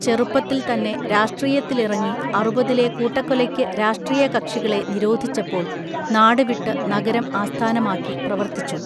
ചെറുപ്പത്തിൽത്തന്നെ രാഷ്ട്രീയത്തിലിറങ്ങി അറുപതിലെ കൂട്ടക്കൊലയ്ക്കു രാഷ്ട്രീയ കക്ഷികളെ നിരോധിച്ചപ്പോൾ നാടുവിട്ടു നഗരം ആസ്ഥാനമാക്കി പ്രവർത്തിച്ചു